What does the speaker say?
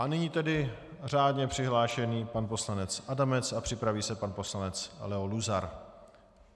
A nyní tedy řádně přihlášený pan poslanec Adamec a připraví se pan poslanec Leo Luzar.